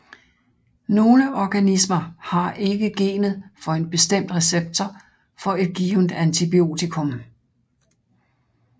Nogle organismer har ikke genet for en bestemt receptor for et givent antibiotikum